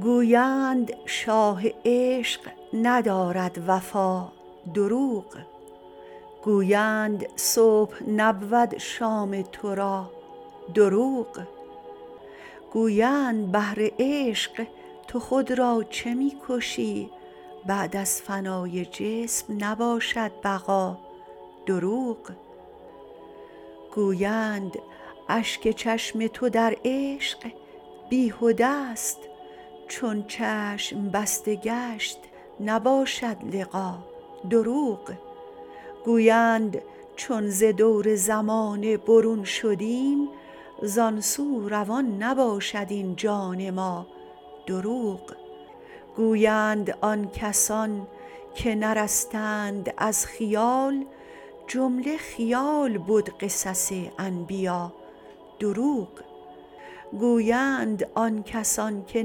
گویند شاه عشق ندارد وفا دروغ گویند صبح نبود شام تو را دروغ گویند بهر عشق تو خود را چه می کشی بعد از فنای جسم نباشد بقا دروغ گویند اشک چشم تو در عشق بیهده ست چون چشم بسته گشت نباشد لقا دروغ گویند چون ز دور زمانه برون شدیم زان سو روان نباشد این جان ما دروغ گویند آن کسان که نرستند از خیال جمله خیال بد قصص انبیا دروغ گویند آن کسان که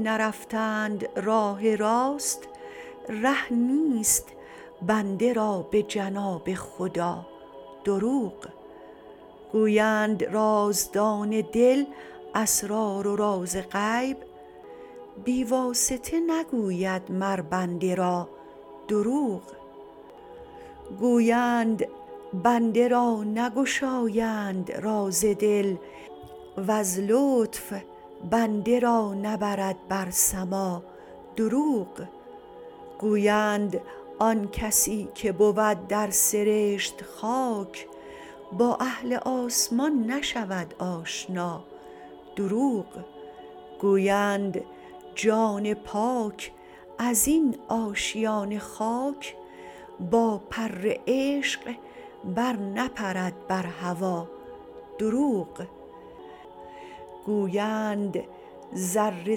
نرفتند راه راست ره نیست بنده را به جناب خدا دروغ گویند رازدان دل اسرار و راز غیب بی واسطه نگوید مر بنده را دروغ گویند بنده را نگشایند راز دل وز لطف بنده را نبرد بر سما دروغ گویند آن کسی که بود در سرشت خاک با اهل آسمان نشود آشنا دروغ گویند جان پاک از این آشیان خاک با پر عشق برنپرد بر هوا دروغ گویند ذره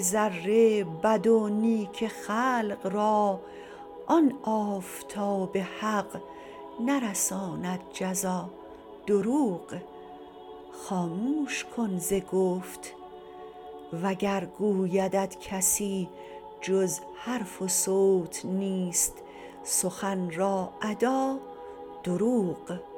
ذره بد و نیک خلق را آن آفتاب حق نرساند جزا دروغ خاموش کن ز گفت وگر گویدت کسی جز حرف و صوت نیست سخن را ادا دروغ